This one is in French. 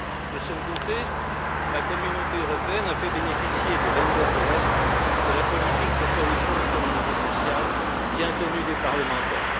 De son côté, la Communauté européenne a fait bénéficier les Länder de l'Est de la politique de cohésion économique et sociale, bien connue des parlementaires.